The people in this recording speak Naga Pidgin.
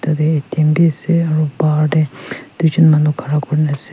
yate A T M bi ase aro bahar te duijun manu khara kuri kena ase.